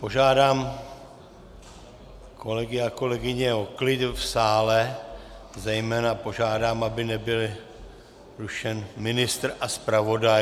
Požádám kolegy a kolegyně o klid v sále, zejména požádám, aby nebyl rušen ministr a zpravodaj.